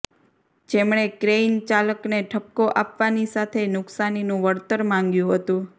જેમણે ક્રેઈનચાલકને ઠપકો આપવાની સાથે નુકસાનીનું વળતર માંગ્યું હતું